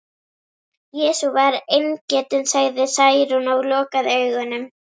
Jesú var eingetinn, sagði Særún og lokaði augunum.